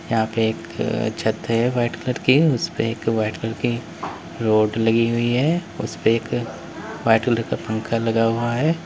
यहां पे एक छत है वाइट कलर की उसपे व्हाइट कलर की रॉड लगी हुई है उसपे एक वाइट कलर का पंखा लगा हुआ है।